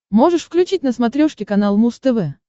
можешь включить на смотрешке канал муз тв